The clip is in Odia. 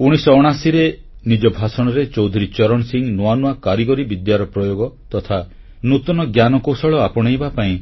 1979ରେ ନିଜ ଭାଷଣରେ ଚୌଧୁରୀ ଚରଣ ସିଂହ ନୂଆ ନୂଆ କାରିଗରୀ ବିଦ୍ୟାର ପ୍ରୟୋଗ ତଥା ନୂତନ ଜ୍ଞାନକୌଶଳ ଆପଣେଇବା ପାଇଁ